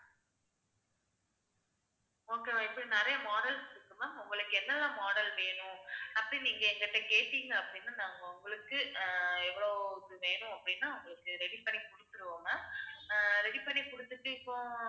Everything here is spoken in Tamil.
okay வா இப்ப நிறைய models இருக்கு ma'am உங்களுக்கு என்னென்ன model வேணும் அப்படி நீங்க எங்கிட்ட கேட்டிங்க அப்படின்னா நாங்க உங்களுக்கு அஹ் எவ்வளவு இது வேணும் அப்படின்னா உங்களுக்கு ready பண்ணி கொடுத்திருவோம் ma'am அஹ் ready பண்ணி கொடுத்துட்டு இப்போ